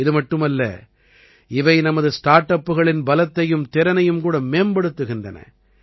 இதுமட்டுமல்ல இவை நமது ஸ்டார்ட் அப்புகளின் பலத்தையும் திறனையும் கூட மேம்படுத்துகின்றன